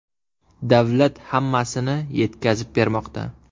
Davlat hammasini yetkazib bermoqda.